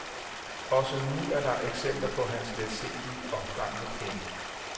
Også nu er der eksempler på hans letsindige omgang med penge.